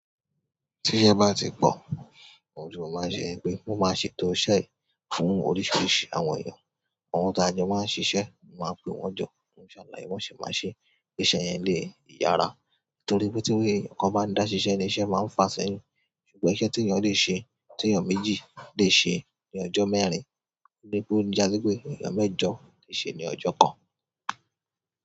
Tíṣẹ́ bá ti pọ̀, àwọn òjò máa ń ṣe pé wọ́n máa ṣe ètò ọṣẹ fún oríṣìíríṣìí àwọn èèyàn. Àwọn táa jọ máa ń ṣiṣẹ́, n máa pè wọ́n jókòó, màá ṣàlàyé b'ọ́n ṣe máa ṣeé kíṣẹ́ yẹn lè yára. Nítorí pé tí ẹnìkan bá ń dá ṣiṣẹ́ niṣẹ́ máa ń fa sẹ́yìn. Ṣùgbọ́n iṣẹ́ tí èèyàn lè ṣe, tí èèyàn méjì lè ṣe ní ọjọ́ mẹ́rin, ni pé ó já sí pé èèyàn mẹ́jọ lè ṣe ní ọjọ́ kan.